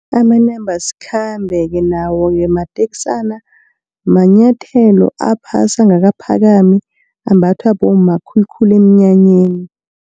Amanambasikhambe-ke nawo-ke mateksana, manyathelo aphasi angakaphakami ambathwa bomma khulukhulu emnyanyeni.